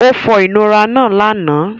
Ó fọ ìnura náà lánàá.